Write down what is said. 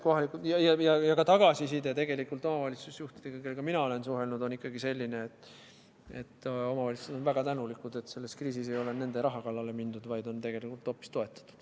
Ja ka tagasiside omavalitsusjuhtidelt, kellega mina olen suhelnud, on ikkagi selline, et omavalitsused on väga tänulikud, et selles kriisis ei ole nende raha kallale mindud, vaid on tegelikult hoopis toetatud.